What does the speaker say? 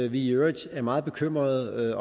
i øvrigt meget bekymrede